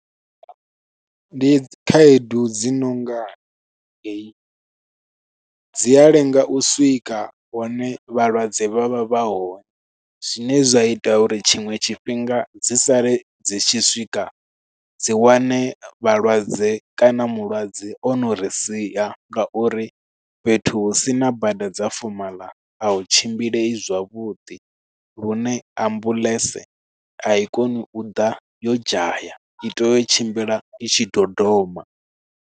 Ndi khaedu dzi nonga heyi, dzi a lenga u swika hone vhalwadze vha vha vha hone. Zwine zwa ita uri tshiṅwe tshifhinga dzi sale dzi tshi swika dzi wane vhalwadze kana mulwadze ono ri sia, nga uri fhethu hu sina bada dza fomaḽa a hu tshimbileyi zwavhuḓi. Lune ambuḽentse a i koni u ḓa yo dzhaya, i tea u tshimbila i tshi dodoma.